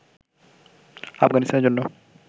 আফগানিস্তানের জন্য